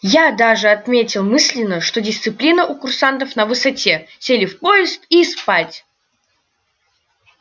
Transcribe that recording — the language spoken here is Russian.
я даже отметил мысленно что дисциплина у курсантов на высоте сели в поезд и спать